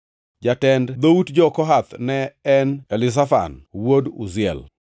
Jatend dhout jo-Kohath ne en Elizafan wuod Uziel.